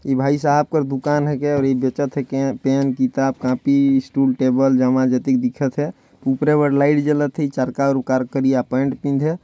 इ भाई साहब कर दुकान है के और ये बेचथे पेन किताब कॉपी स्टूल टेबल जमाय जतिक दिखथ है ऊपरे बल लाइट जलथे करिया पेंट पहिनदे